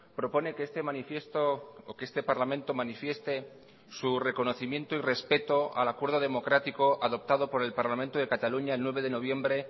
propone que este manifiesto o que este parlamento manifieste su reconocimiento y respeto al acuerdo democrático adoptado por el parlamento de cataluña el nueve de noviembre